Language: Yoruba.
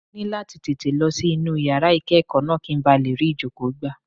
Mo ní láti tètè lọ sí inú yàrá ìkẹ́kọ̀ọ́ náà, kí n ba lè rí ìjókòó gbà.